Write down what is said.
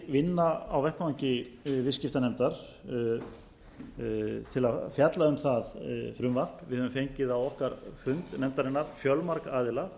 vinna á vettvangi viðskiptanefndar til að fjalla um það frumvarp við höfum fengið á fund nefndarinnar fjölmarga aðila